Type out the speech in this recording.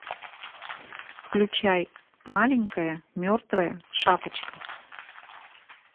включай маленькая мертвая шапочка